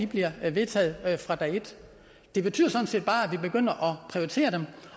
bliver vedtaget fra dag et det betyder sådan set bare at vi begynder at prioritere dem